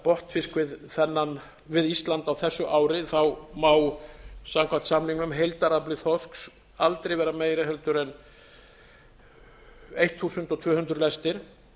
botnfisk við ísland á þessu ári má samkvæmt samningnum heildarafli þorsks aldrei vera meiri heldur en tólf hundruð lestir